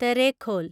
Terekhol